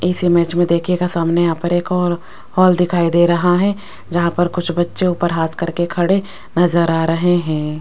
इस इमेज में देखियेगा सामने यहां पर एक ओर हॉल दिखाई दे रहा है जहां पर कुछ बच्चे ऊपर हाथ करके खड़े नजर आ रहे हैं।